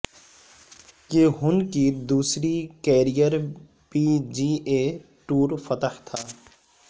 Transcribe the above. یہ ہن کی دوسری career P G A tour فتح تھا